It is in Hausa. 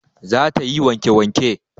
Za ta yi wanke wanke